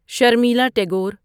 Sharmila Tagore